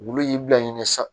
Wulu y'i bila ɲini sa